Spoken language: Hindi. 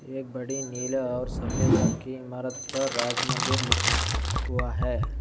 एक बड़ी नीले और सफेद रंग की इमारत पर राज मंदिर लि हुआ है।